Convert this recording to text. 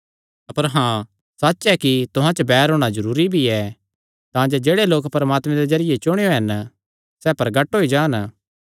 अपर हाँ एह़ सच्च ऐ कि तुहां च बैर होणा जरूरी भी ऐ तांजे जेह्ड़े लोक परमात्मे दे जरिये चुणेयो हन सैह़ प्रगट होई जान